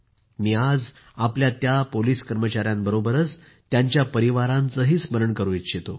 मी आज आपल्या या पोलिस कर्मचायांबरोबरच त्यांच्या परिवारांचेही स्मरण करू इच्छितो